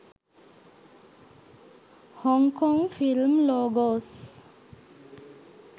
hong kong film logos